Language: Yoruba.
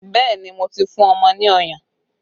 Bẹẹ ni, mo ti fún ọmọ ní ọyàn